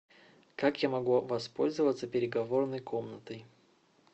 как я могу воспользоваться переговорной комнатой